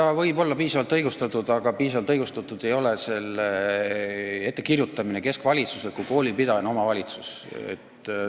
See võib olla piisavalt õigustatud, aga piisavalt õigustatud ei ole selle ettekirjutamine keskvalitsuse poolt, kui koolipidaja on omavalitsus.